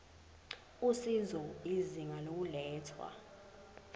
usizo izinga lokulethwa